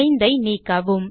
5 ஐ நீக்கவும்